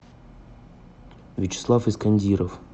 вячеслав искандиров